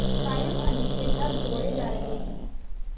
कायमअली के घर दौड़े जा रहे हैं